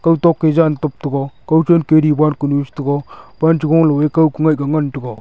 kawtok ke jan kap taiga kawchen ke diwar kunu chete pan chegoley ko ku mai ka ngan taiga.